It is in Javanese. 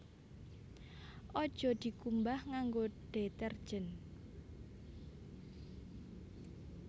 Aja dikumbah nganggo detergen